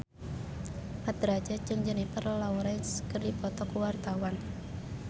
Mat Drajat jeung Jennifer Lawrence keur dipoto ku wartawan